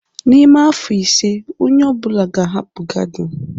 N'ime afọ ise onye ọ bụla ga-ahapụ gardin